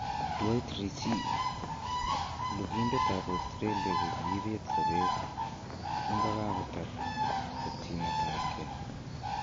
Dwight Ritchie: lugindet ab Australia ko kiibet sobet kingokagotar chopchinet ab kee